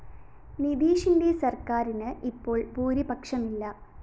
നിതീഷിന്റെ സര്‍ക്കാരിന്‌ ഇപ്പോള്‍ ഭൂരിപക്ഷമില്ല